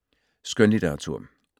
Skønlitteratur